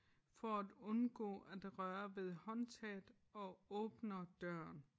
For at undgå at røre ved håndtaget og åbner døren